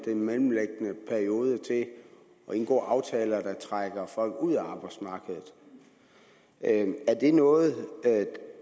mellemliggende periode til at indgå aftaler der trækker folk ud af arbejdsmarkedet er det noget